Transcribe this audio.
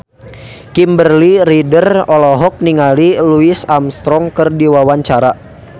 Kimberly Ryder olohok ningali Louis Armstrong keur diwawancara